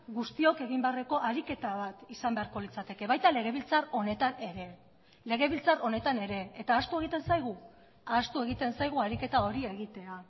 guztiok egin beharreko ariketa bat izan beharko litzateke baita legebiltzar honetan ere legebiltzar honetan ere eta ahaztu egiten zaigu ahaztu egiten zaigu ariketa hori egitea